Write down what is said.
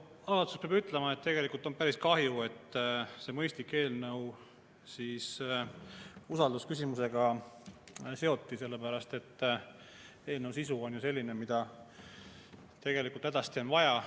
Algatuseks peab ütlema, et tegelikult on päris kahju, et see mõistlik eelnõu usaldusküsimusega seoti, sest eelnõu sisu on selline, et tegelikult hädasti vaja.